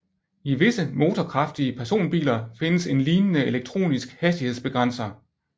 I visse motorkraftige personbiler findes en lignende elektronisk hastighedsbegrænser